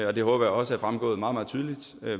og det håber jeg også er fremgået meget meget tydeligt